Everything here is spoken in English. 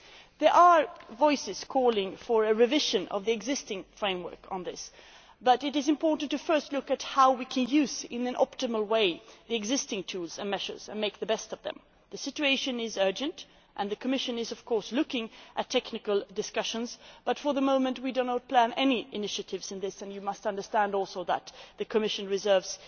There are voices calling for a revision of the existing framework on this, but it is important to first look at how we can use in an optimal way the existing tools and measures and make the best of them. The situation is urgent and the Commission is, of course, looking at technical discussions, but for the moment we do not plan any initiatives in this area. You must also understand that the Commission reserves